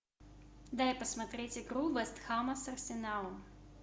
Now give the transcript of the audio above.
дай посмотреть игру вест хэма с арсеналом